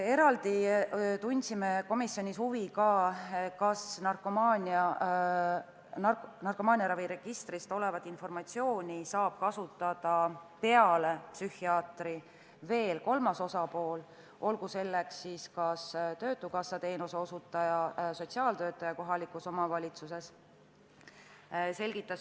Eraldi tundsime komisjonis huvi, kas narkomaaniaraviregistris olevat informatsiooni saab kasutada peale psühhiaatri veel kolmas osapool, olgu selleks töötukassa teenuseosutaja või kohaliku omavalitsuse sotsiaaltöötaja.